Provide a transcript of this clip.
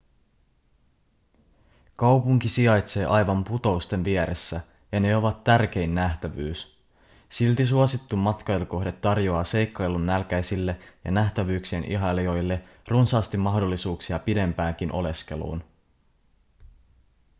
kaupunki sijaitsee aivan putousten vieressä ja ne ovat tärkein nähtävyys silti suosittu matkailukohde tarjoaa seikkailunnälkäisille ja nähtävyyksien ihailijoille runsaasti mahdollisuuksia pidempäänkin oleskeluun